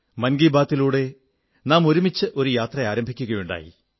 മൻ കീ ബാത്തിലൂടെ നാം ഒരുമിച്ച് ഒരു യാത്ര ആരംഭിക്കയുണ്ടായി